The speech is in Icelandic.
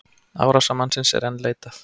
Árásarmannsins er enn leitað